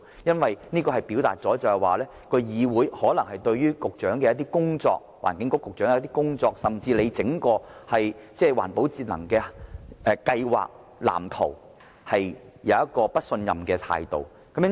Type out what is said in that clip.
消費者或會以為，議會可能對環境局局長的工作，甚至整個環保節能計劃和藍圖持不信任的態度。